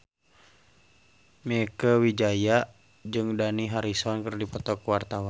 Mieke Wijaya jeung Dani Harrison keur dipoto ku wartawan